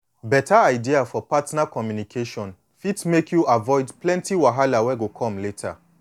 beta idea for partner communication fit make you avoid plenty wahala wey go come later